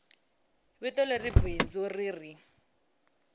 vito leri bindzu ri ri